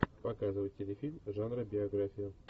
показывай телефильм жанра биография